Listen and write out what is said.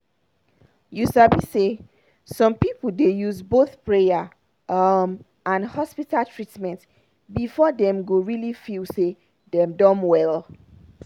you sabi say some people dey use both prayer um and hospital treatment before dem go really feel say dem don well.